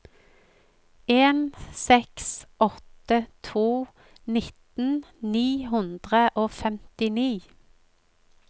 en seks åtte to nitten ni hundre og femtini